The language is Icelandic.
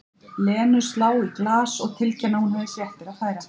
Lenu slá í glas og tilkynna að hún hefði fréttir að færa.